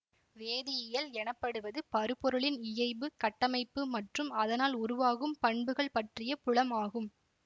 வேதியியல் எனப்படுவது பருப்பொருளின் இயைபு கட்டமைப்பு மற்றும் அதனால் உருவாகும் பண்புகள் பற்றிய புலம் ஆகும்